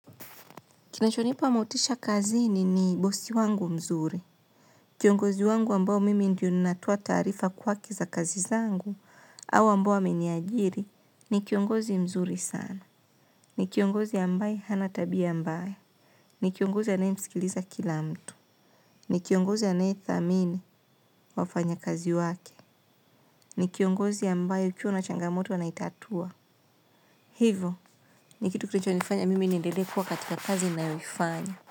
Kinachonipa motisha kazini ni bosi wangu mzuri. Kiongozi wangu ambao mimi ndio ninatoa taarifa kwake za kazi zangu au ambao ameniajiri ni kiongozi mzuri sana. Ni kiongozi ambaye hana tabia mbaya. Ni kiongozi anayemsikiliza kila mtu. Ni kiongozi anayedhamini wafanya kazi wake. Ni kiongozi ambaye ukiwa na changamoto anaitatua. Hivo, ni kitu kitu kichonifanya mimi niendelee kuwa katika kazi ninayoifanya.